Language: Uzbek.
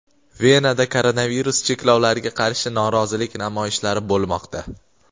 Venada koronavirus cheklovlariga qarshi norozilik namoyishlari bo‘lmoqda.